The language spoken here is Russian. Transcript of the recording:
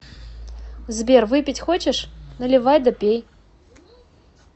сбер выпить хочешь наливай да пей